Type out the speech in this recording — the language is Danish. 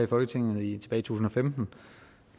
for eksempel